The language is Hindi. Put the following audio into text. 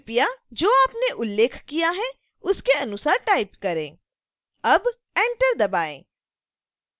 कृपया जो आपने उल्लेख किया है उसके अनुसार टाइप करें अब enter दबाएँ